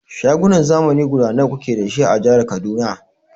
Shagunan zamani guda nawa kuke dashi a jihar Kaduna?